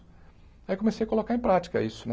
Aí comecei a colocar em prática isso né.